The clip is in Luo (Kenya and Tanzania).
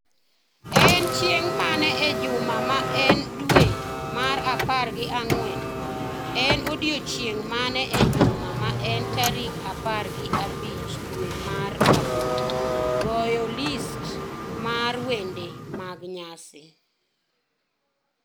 En chieng' mane e juma ma en dwe mar apar gi ang'wen? En odiechieng’ mane e juma ma en tarik apar gi abich dwe mar aboro? goyo listi mar wende mag nyasi